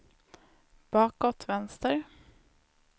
bakåt vänster